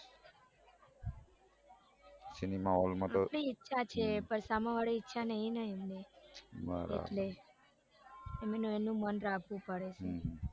cinema hall માં તો આપડી ઈચ્છા છે પણ સામેવાળાની ઈચ્છા નઈ ને એમની એટલે એમનું મોન રાખવું પડે છે